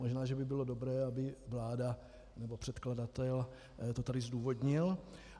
Možná že by bylo dobré, aby vláda, nebo předkladatel to tady zdůvodnil.